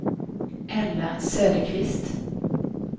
Ella Söderqvist